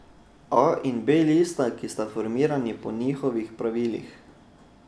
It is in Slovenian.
A in B lista, ki sta formirani po njihovih pravilih ...